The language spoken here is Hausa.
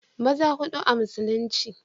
maza hudu a musulunci